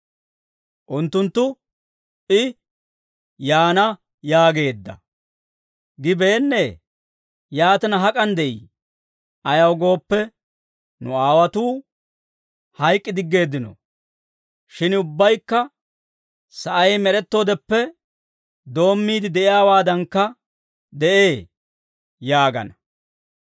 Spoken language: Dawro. Unttunttu, «I ‹Yaana› yaageedda. Gibeennee? Yaatina hak'an de'ii? Ayaw gooppe, nu aawotuu hayk'k'i diggeeddino; shin ubbabaykka sa'ay med'ettoodeppe doommiide de'iyaawaadankka de'ee» yaagana.